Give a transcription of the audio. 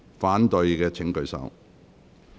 反對的請舉手。